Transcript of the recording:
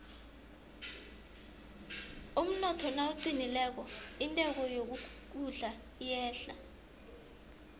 umnotho nawuqinileko intengo yokudla iyehla